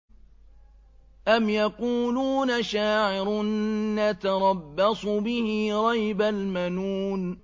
أَمْ يَقُولُونَ شَاعِرٌ نَّتَرَبَّصُ بِهِ رَيْبَ الْمَنُونِ